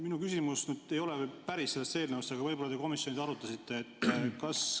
Minu küsimus ei ole päris selle eelnõu kohta, aga võib-olla te komisjonis arutasite seda.